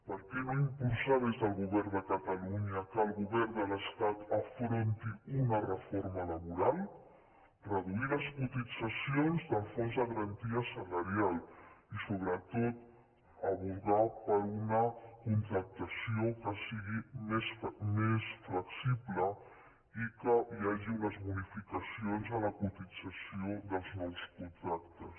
per què no impulsar des del govern de catalunya que el govern de l’estat afronti una reforma laboral reduir les cotitzacions del fons de garantia salarial i sobre·tot advocar per una contractació que sigui més flexible i que hi hagi unes bonificacions en la cotització dels nous contractes